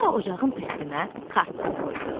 Sonra ocağın üstünə kartof qoydu.